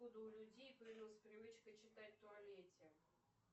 откуда у людей появилась привычка читать в туалете